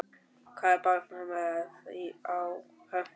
Hvað er barnið með á höfðinu!